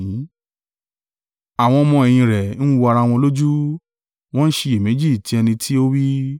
Àwọn ọmọ-ẹ̀yìn rẹ̀ ń wò ara wọn lójú, wọ́n ń ṣiyèméjì ti ẹni tí ó wí.